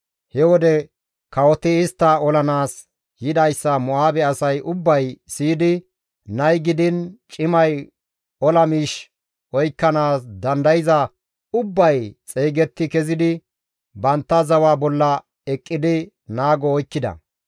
He wode kawoti istta olanaas yidayssa Mo7aabe asay ubbay siyidi nay gidiin cimay ola miish oykkanaas dandayza ubbay xeygetti kezidi bantta zawa bolla eqqidi naago oykkida.